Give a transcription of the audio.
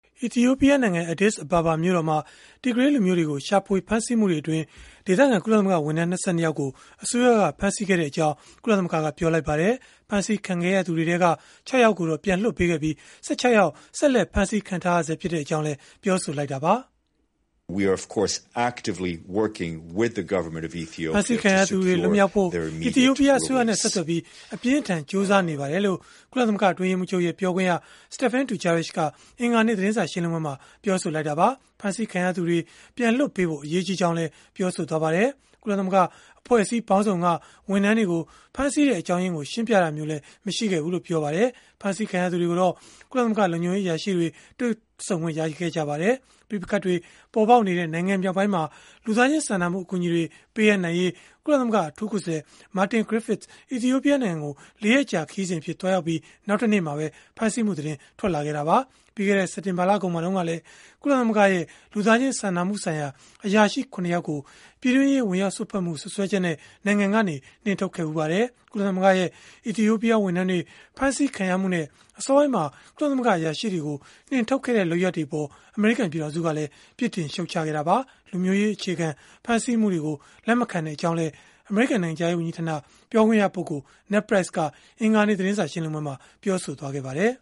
အီသီယိုပီးယားနိုင်ငံ Addis Ababa မြို့တော်မှာ Tigray လူမျိုးတွေကို ရှာဖွေဖမ်းဆီးမှုတွေအတွင်း အီသီယိုပီးယားလူမျိုး ကုလသမဂ္ဂဝန်ထမ်း ၂၂ ယောက်ကို အစိုးရက ဖမ်းဆီးခဲ့ကြောင်း ကုလသမဂ္ဂက ပြောလိုက်ပါတယ်။ ဖမ်းဆီးခံခဲ့ရသူတွေထဲက ၆ ယောက်ကိုတော့ ပြန်လွှတ်ပေးခဲ့ပြီး ၁၆ ယောက် ဆက်လက် ဖမ်းဆီးခံထားရကြောင်းလည်း ပြောပါတယ်။ “ဖမ်းဆီးခံရသူတွေ လွတ်မြောက်ဖို့ အီသီယိုပီးယား အစိုးရနဲ့ ဆက်သွယ်ပြီး အပြင်းအထန် ကြိုးစားနေပါတယ်။” လို့ ကုလသမဂ္ဂ အတွင်းရေးမှူးချုပ်ရဲ့ ပြောခွင့်ရ Stephane Dujarric က အင်္ဂါနေ့ သတင်းစာ ရှင်းလင်းပွဲမှာ ပြောသွားတာပါ။ ဖမ်းဆီးခံရသူတွေ ပြန်လွှတ်ပေးဖို့ အရေးကြီးကြောင်းလည်း ပြောပါတယ်။ ကုလသမဂ္ဂ အဖွဲ့အစည်းပေါင်းစုံက ဝန်ထမ်းတွေကို ဖမ်းဆီးတဲ့ အကြောင်းရင်းကို ရှင်းပြတာမျိုးလည်း မရှိခဲ့ဘူးလို့ ပြောပါတယ်။ ဖမ်းဆီးခံရသူတွေကိုတော့ ကုလသမဂ္ဂ လုံခြုံရေးအရာရှိတွေ တွေ့ဆုံခွင့် ရခဲ့ကြပါတယ်။ ပဋိပက္ခတွေ ပေါ်ပေါက်နေတဲ့ နိုင်ငံ မြောက်ပိုင်းမှာ လူသားချင်း စာနာမှု အကူအညီတွေ ပေးအပ်နိုင်ရေး ကုလသမဂ္ဂ အထူးကိုယ်စားလှယ် Martin Griffiths အီသီယိုပီးယား နိုင်ငံကို ၄ ရက်ကြာ ခရီးစဉ်အဖြစ် သွားရောက်ခဲ့ပြီး နောက်တနေ့မှာပဲ ဖမ်းဆီးမှု သတင်းထွက်ပေါ်လာခဲ့တာပါ။ ပြီးခဲ့တဲ့ စက်တင်ဘာလကုန်မှာ တုန်းကလည်း ကုလသမဂ္ဂရဲ့ လူသားချင်းစာနာမှုဆိုင်ရာ အရာရှိ ၇ ယောက်ကို ပြည်တွင်းရေး ဝင်ရောက်စွက်ဖက်မှု စွပ်စွဲချက်နဲ့ နိုင်ငံကနေ နှင်ထုတ်ခဲ့ပါတယ်။ ကုလသမဂ္ဂရဲ့ အီသီယိုပီးယား ဝန်ထမ်းတွေ ဖမ်းဆီးခံရမှုနဲ့ အစောပိုင်းမှာ ကုလသမဂ္ဂ အရာရှိတွေကို နှင်ထုတ်ခဲ့တဲ့ လုပ်ရပ်တွေအပေါ် အမေရိကန် ပြည်ထောင်စုကလည်း ပြစ်တင်ရှုတ်ချခဲ့တာပါ။ လူမျိုးရေးအခြေခံ ဖမ်းဆီးမှုတွေကို လက်မခံကြောင်းလည်း အမေရိကန် နိုင်ငံခြားရေး ဝန်ကြီးဌာန ပြောခွင့်ရ Ned Price က အင်္ဂါနေ့ သတင်းစာ ရှင်းလင်းပွဲမှာ ပြောဆိုသွားပါတယ်